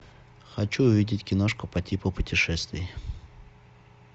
хочу увидеть киношку по типу путешествий